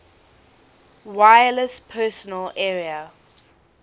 wireless personal area